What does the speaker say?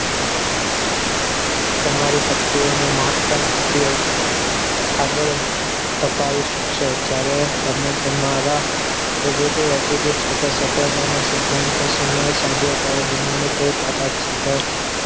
તમારી શક્તિઓનો મહત્તમ ઉપયોગ આગળ છપાવી શકશો જ્યારે તમે તમારા positive attitude સાથે સફળ તેના સિદ્ધાંતો સમય સાથે અત્યારે દુનિયાની કોઈ તાકાત સફળ